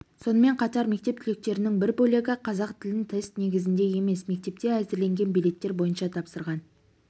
сонымен қатар мектеп түлектерінің бір бөлігі қазақ тілін тест негізінде емес мектепте әзірленген билеттер бойынша тапсырған